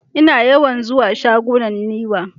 Ina yawan zuwa shagunan Niwa.